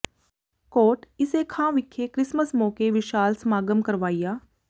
ਕੋਟ ਈਸੇ ਖਾਂ ਵਿਖੇ ਕ੍ਰਿਸਮਸ ਮੌਕੇ ਵਿਸ਼ਾਲ ਸਮਾਗਮ ਕਰਵਾਇਆ